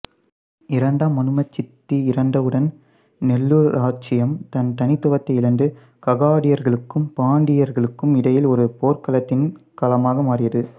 இரண்டாம் மனுமசித்தி இறந்தவுடன் நெல்லூர் இராச்சியம் தன் தனித்துவத்தை இழந்து ககாதியர்களுக்கும் பாண்டியர்களுக்கும் இடையில் ஒரு போர்க்களத்தின் களமாக மாறியது